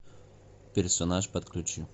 персонаж подключи